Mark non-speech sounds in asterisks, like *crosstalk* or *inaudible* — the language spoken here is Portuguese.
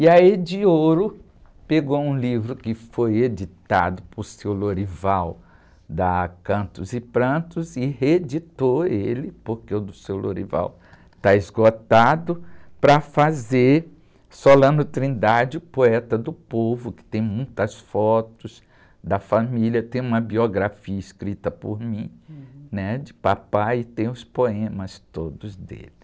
E a Edioro pegou um livro que foi editado por seu, *unintelligible* da Cantos e Prantos, e reeditou ele, porque o do seu *unintelligible* está esgotado, para fazer Solano Trindade, o poeta do povo, que tem muitas fotos da família, tem uma biografia escrita por mim, né? De papai, e tem os poemas todos dele.